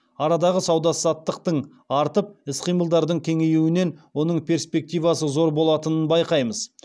арадағы сауда саттықтың артып іс қимылдардың кеңеюінен оның перспективасы зор болатынын байқаймыз